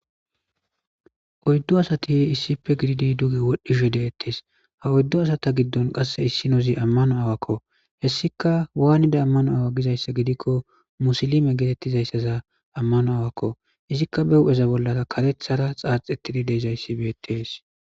oyddu asati issife gididi duge wodhdhishe deettees ha oyddu asata giddon qasse issinozi ammano aawakko hessika waanida ammano awa gizayssa gidikko musilime geetettizayssaza ammano aawakko izikka be hu'eza bollara karethara xaaxettidi deezayssi beetees